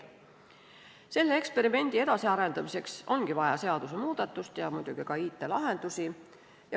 Selle eksperimendi edasiarendamiseks ongi vaja seadusemuudatust ja muidugi ka IT-lahendusi.